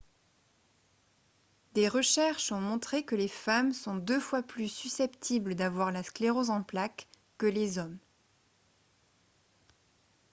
des recherches ont montré que les femmes sont deux fois plus susceptibles d'avoir la sclérose en plaques que les hommes